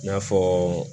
I n'a fɔ